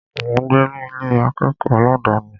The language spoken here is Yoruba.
Mò ń gbé ní Ilé akẹ́kọ̀ọ́ aládàni.